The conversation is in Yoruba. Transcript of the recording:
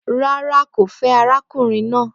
Rárá ,kò fẹ àrákúnrìn nà